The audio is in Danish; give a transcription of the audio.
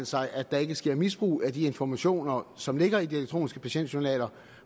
sig at der ikke sker misbrug af de informationer som ligger i de elektroniske patientjournaler